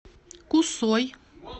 кусой